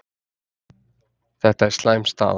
Þetta er slæm staða